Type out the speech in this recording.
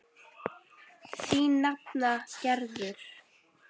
Þín nafna Gerður.